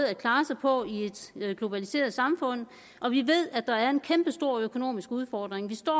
at klare sig på i et globaliseret samfund og vi ved at der er en kæmpestor økonomisk udfordring vi står